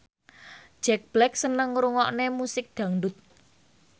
Jack Black seneng ngrungokne musik dangdut